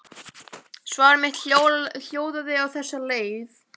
Svar mitt hljóðaði á þessa leið